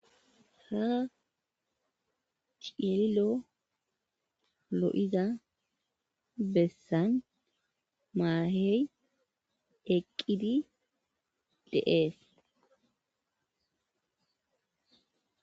ha cililo lo7iza bessan maahey eqqidi de7ees